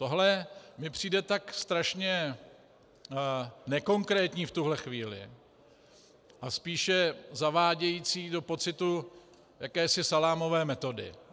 Tohle mi přijde tak strašně nekonkrétní v tuhle chvíli a spíše zavádějící do pocitu jakési salámové metody.